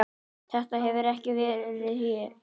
Þetta hefur ekki verið ég?